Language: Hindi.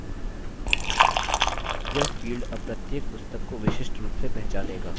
यह field अब प्रत्येक पुस्तक को विशिष्ट रूप से पहचानेगा